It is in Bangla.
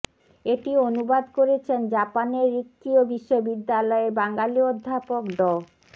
এটি অনুবাদ করেছেন জাপানের রিক্কীয় বিশ্ববিদ্যালয়ের বাঙালি অধ্যাপক ড